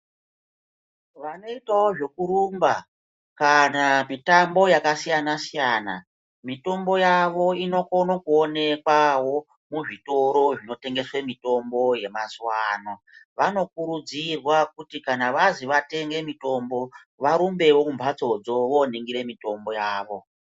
Vanoitawo zvekurumba kana mitambo yakasiyana siyana mitombo yavo inokone kuonekwawo muzvitoro zvinotengesa mitombo yemazuwano vanokurudzirwa kuti kana vazi vatenge mitombo varumbewo kumhatsodzo voningira mitombo yavo.